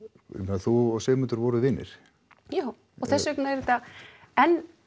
þú og Sigmundur voruð vinir já og þess vegna er þetta enn